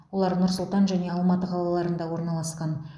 олар нұр сұлтан және алматы қалаларында орналасқан